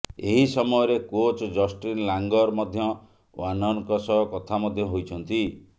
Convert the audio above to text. ଏହି ସମୟରେ coach Justin Langer ମଧ୍ୟ ୱାର୍ଣ୍ଣରଙ୍କ ସହ କଥା ମଧ୍ୟ ହୋଇଛନ୍ତି